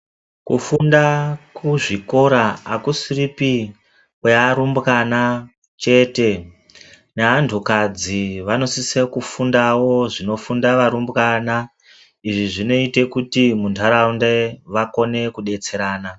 Kufunda kuzvikora akusiripi kwearumbwana chete neantukadzi vanosise kufundawo zvinofunda varumbwana. Izvi zvinoite kuti muntaraunda vakone kudetserana.